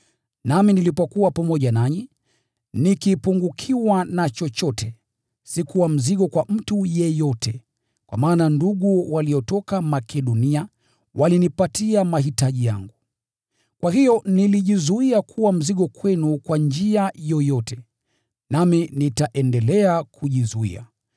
Nami nilipokuwa pamoja nanyi, nikipungukiwa na chochote, sikuwa mzigo kwa mtu yeyote, kwa maana ndugu waliotoka Makedonia walinipatia mahitaji yangu. Kwa hiyo nilijizuia kuwa mzigo kwenu kwa njia yoyote, nami nitaendelea kujizuia.